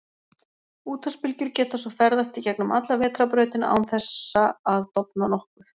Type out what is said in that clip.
Útvarpsbylgjur geta svo ferðast í gegnum alla Vetrarbrautina án þessa að dofna nokkuð.